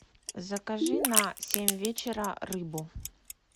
закажи на семь вечера рыбу